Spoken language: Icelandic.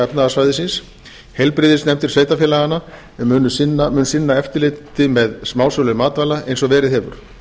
efnahagssvæðisins heilbrigðisnefndir sveitarfélaganna sem munu sinna eftirliti með smásölu matvæla eins og verið hefur